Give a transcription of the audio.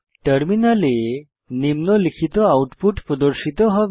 টার্মিনালে আউটপুট প্রদর্শিত হবে